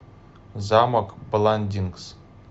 замок бландингс